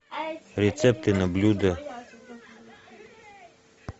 рецепты на блюдо